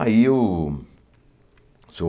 Aí o Seu